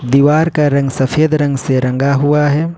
दीवार का रंग सफेद रंग से रंगा हुआ हैं।